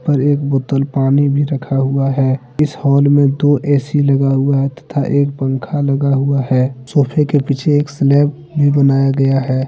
ऊपर एक बोतल पानी भी रखा हुआ है इस हॉल में दो ए_सी लगा हुआ है तथा एक पंखा लगा हुआ है सोफे के पीछे एक स्लैब भी बनाया गया है।